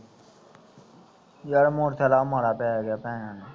ਯਾਰ motorcycle ਆ ਮਾੜਾ ਪਿਆ ਭੈਣ